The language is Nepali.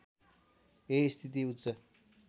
यही स्थिति उच्च